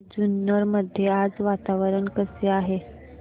जुन्नर मध्ये आज वातावरण कसे आहे